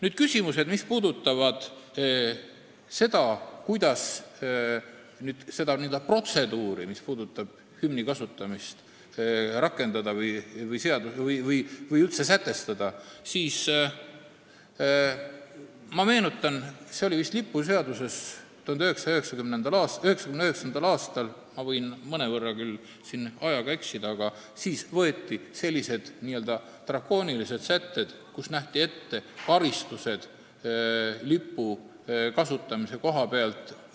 Rääkides sellest, kuidas rakendada või üldse sätestada seda protseduuri, mis puudutab hümni kasutamist, siis ma meenutan, et vist 1999. aastal – ma võin mõnevõrra küll ajaga eksida – võeti lipuseadusest välja n-ö drakoonilised sätted, millega olid nähtud ette karistused lipu kasutamise koha pealt.